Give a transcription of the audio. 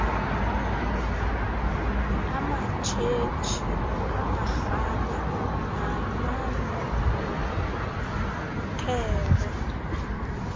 amatshetshi amarhabe namaluthere